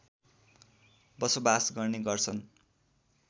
बसोबास गर्ने गर्छन्